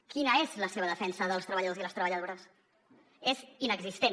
quina és la seva defensa dels treballadors i les treballadores és inexistent